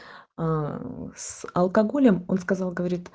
аа с алкоголем он сказал говорит